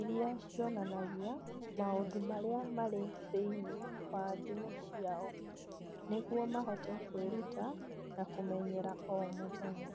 iria cionanagia maũndũ marĩa marĩ thĩinĩ wa thimũ ciao nĩguo mahote kwĩruta na kũmenyera o mũthenya